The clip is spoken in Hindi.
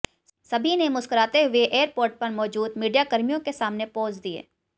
सभी ने मुस्कुराते हुए एयरपोर्ट पर मौजूद मीडियाकर्मियों के सामने पोज दिए